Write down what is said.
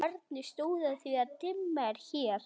En hvernig stóð á því?